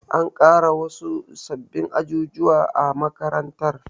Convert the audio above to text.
An ƙara gina wasu sababbin ajujuwa a makarantar.